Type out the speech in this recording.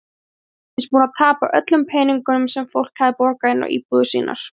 Hann reyndist búinn að tapa öllum peningum sem fólk hafði borgað inn á íbúðir sínar.